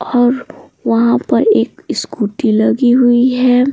और वहाँ पर एक स्कूटी लगी हुई है।